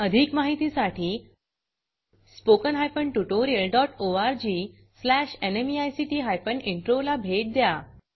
अधिक माहितीसाठी spoken hyphen tutorial dot org slash NMEICT hyphen intro ला भेट द्या